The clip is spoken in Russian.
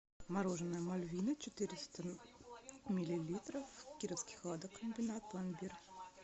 мороженое мальвина четыреста миллилитров кировский хладокомбинат пломбир